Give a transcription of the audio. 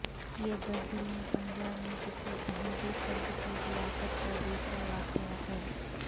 یہ دس دن میں پنجاب میں کسی احمدی فرد کی ہلاکت کا دوسرا واقعہ ہے